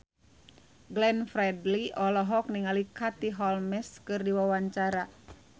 Glenn Fredly olohok ningali Katie Holmes keur diwawancara